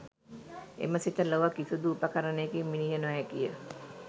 එම සිත ලොව කිසිදු උපකරණයකින් මිණිය නො හැකි ය